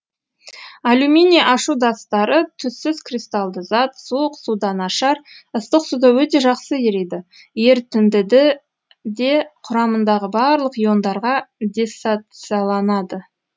алюминий ашудастары түссіз кристалды зат суық суда нашар ыстық суда өте жақсы ериді ерітіндіде құрамындағы барлық иондарға диссоцияланады